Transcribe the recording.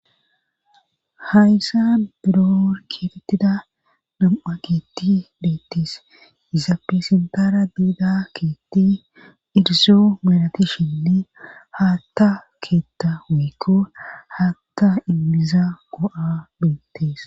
Hayssa buror keetettida nam7a kietti beettees iza pesentara diida keetti irizo melatishinne haatta keetta wiikko haatta immiza go7a beettees